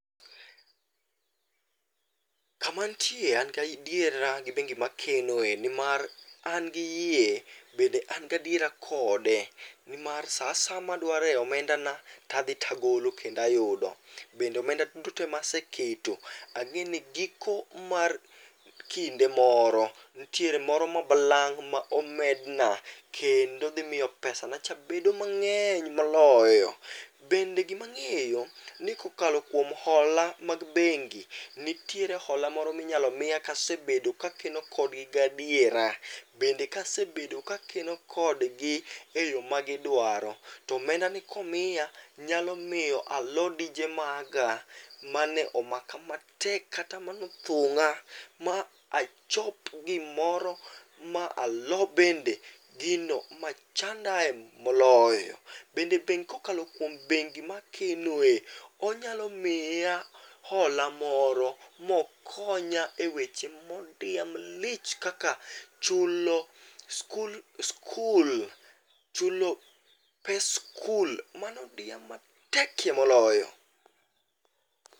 Kama antie an gadiera gi bengi makenoe nimar an gi yie bende an gadiera kode nimar saa asaya madware omendana, tadhi tagolo kendo ayudo. Bende omenda duto te ma ase keto ang'eni giko mar kinde moro, nitiere moro ma balang' ma omedna kendo dhi miyo pesanacha bedo mang'eny moloyo. Bende gima ang'eyo ni kokalo kuom hola mag bengi, nitiere hola moro minyalo miya kasebedo ka akeno kodgi gadiera. Bende kasebedo kakeno kodgi eyo magidwaro. To omendani komiya, nyalo miyo alo dije maga mane omaka matek kata manothung'a ma achop gimoro, ma alo bende gino machandae moloyo. Bende bengi kokalo kuom bengi makenoe, onyalo miya hola moro mokonya eweche modiya malich kaka chulo skul chulo pes skul manodiya matekie moloyo.